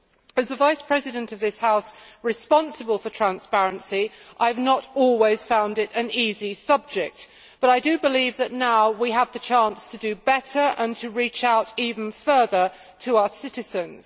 As the Vice President of this House responsible for transparency, I have not always found it an easy subject, but I do believe that now we have the chance to do better and to reach out even further to our citizens.